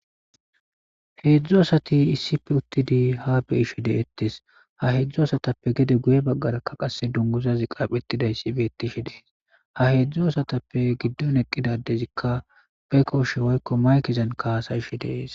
Hedzdzu asati issippe uttidi ha be'ishe de'etees; ha hedzdzu asatappe gede guye bagaarakka qasse dunguzazi qapheetidayssi beetishe de'es; ha hedzdzu asatappe giddon eqqida addezikka be kooshe woykko maykezan haasa'ishe de'es.